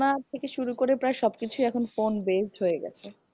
পড়াশুনার থেকে শুরু করে প্রায় সব কিছুই phone based হয়ে গেছে